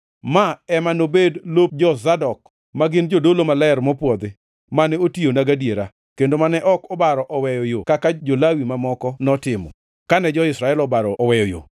Ma ema nobed lop jo-Zadok, ma gin jodolo maler mopwodhi, mane otiyona gadiera, kendo mane ok obaro oweyo yo kaka jo-Lawi mamoko notimo, kane jo-Israel obaro oweyo yo.